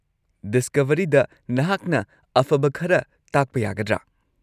ꯗꯤꯁꯀꯚꯔꯤꯗ ꯅꯍꯥꯛꯅ ꯑꯐꯕ ꯈꯔ ꯇꯥꯛꯄ ꯌꯥꯒꯗ꯭ꯔꯥ?